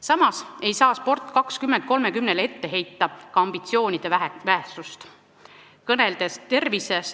Samas ei saa nn "Sport 2030-le" ka ambitsioonide vähesust ette heita.